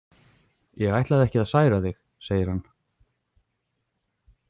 Ég ætlaði ekki að særa þig, segir hann.